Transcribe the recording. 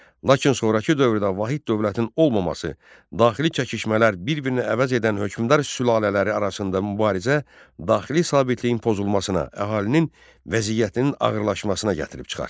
Lakin sonrakı dövrdə vahid dövlətin olmaması, daxili çəkişmələr, bir-birini əvəz edən hökmdar sülalələri arasında mübarizə daxili sabitliyin pozulmasına, əhalinin vəziyyətinin ağırlaşmasına gətirib çıxartdı.